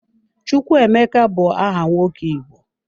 Chukwuemeka bu aha nwoke Igbo.